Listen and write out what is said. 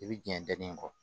I bi jɛn ni kɔ